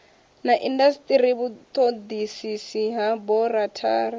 na indasiteri vhutodisisi ha aborathari